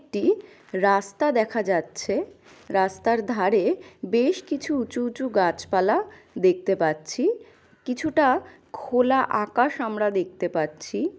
টি রাস্তা দেখা যাচ্ছে। রাস্তার ধারে বেশ কিছু উঁচু উঁচু গাছ পালা দেখতে পাচ্ছি কিছুটা খোলা আকাশ আমরা দেখতে পাচ্ছি।